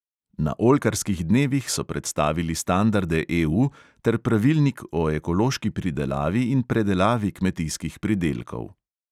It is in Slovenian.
Na oljkarskih dnevih so predstavili standarde EU ter pravilnik o ekološki pridelavi in predelavi kmetijskih pridelkov.